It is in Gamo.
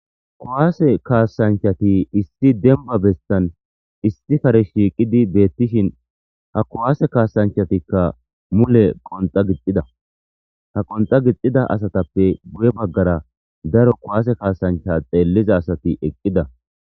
kuwaase kaasanchati issi demba bessan issi kare shiiqidi beettishin ha kuwaase kaasanchatikka mule qonxa gixida ha qonxa gixida asatappe guye baggara daro kuwaase kaasancha xeelliza asati eqqida